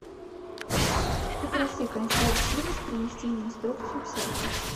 попроси консьерж сервис принести мне инструкцию к сейфу